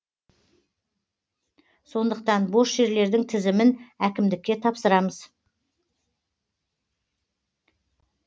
сондықтан бос жерлердің тізімін әкімдікке тапсырамыз